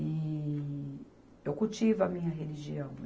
Eee eu cultivo a minha religião.